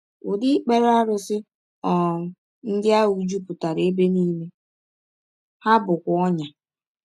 Ụdị ikpere arụsị um ndị ahụ jupụtara ebe nile, ha bụkwa ọnyà.